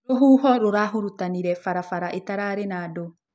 Rũhũhĩ rũrahũrũtanĩre barabara ĩtararĩ na andũ